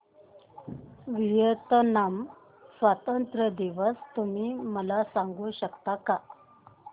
Vietnam स्वतंत्रता दिवस तुम्ही मला सांगू शकता का